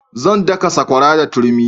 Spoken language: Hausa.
Zan daka sakwara da turmi